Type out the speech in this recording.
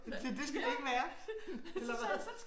Det det skal det ikke være eller hvad?